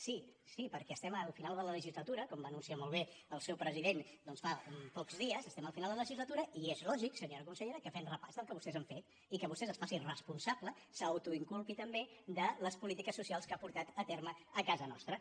sí sí perquè estem al final de la legislatura com va anunciar molt bé el seu president fa pocs dies i és lògic senyora consellera que fem repàs del que vostès han fet i que vostè es faci responsable s’autoinculpi també de les polítiques socials que ha portat a terme a casa nostra